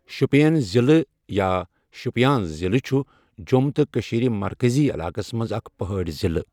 شۄپیان ضِلہٕ یا شُپین ضِلہٕ چھ جۆم تہٕ کٔشیٖر مرکزی علاقس منٛز اکھ پہٲڑی ضِلہٕ